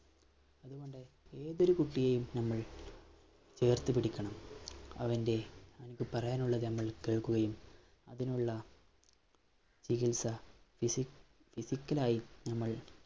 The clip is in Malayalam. ഏതൊരു കുട്ടിയേയും നമ്മള്‍ ചേര്‍ത്തു പിടിക്കണം. അവന്‍റെ പറയാനുള്ളത് നമ്മള്‍ കേള്‍ക്കുകയും, അതിനുള്ള ചികിത്സ physic physical ആയി നമ്മള്‍